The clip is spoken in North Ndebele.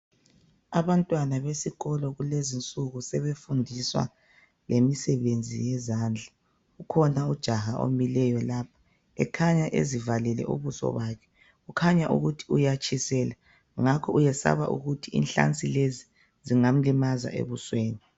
Abantwana besikolo kulezinsuku sebefundiswa lemisebenzi yezandla. Kukhona ujaha omileyo la ,ekhanya ezivalile ubuso bakhe . Kukhanya ukuthi uyatshiselwa ngakho uyesaba ukuthi inhlansi lezi zingamlimaza ebusweni.